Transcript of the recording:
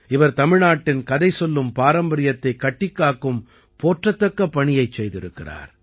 இவர் தமிழ்நாட்டின் கதை சொல்லும் பாரம்பரியத்தைக் கட்டிக்காக்கும் போற்றத்தக்க பணியைச் செய்திருக்கிறார்